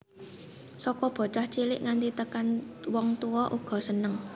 Saka bocah cilik nganti tekan wong tuwa uga seneng